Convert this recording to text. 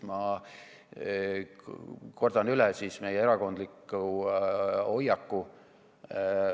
Ma kordan üle meie erakondliku hoiaku.